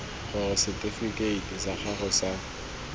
gore setifikeiti sa gago sa